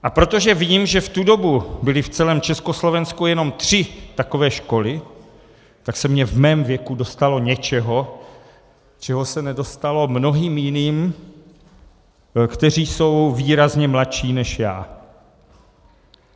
A protože vím, že v tu dobu byly v celém Československu jenom tři takové školy, tak se mi v mém věku dostalo něčeho, čehož se nedostalo mnohým jiným, kteří jsou výrazně mladší než já.